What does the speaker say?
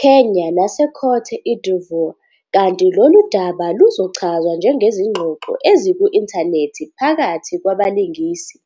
Kenya naseCôte d'Ivoire kanti lolu daba luzochazwa ngezingxoxo eziku-inthanethi phakathi kwabalingisi.